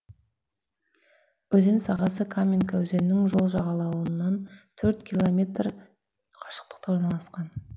өзен сағасы каменка өзенінің сол жағалауынан төрт километр қашықтықта орналасқан